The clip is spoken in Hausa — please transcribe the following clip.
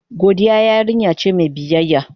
Godiya yarinya ce mai biyayya.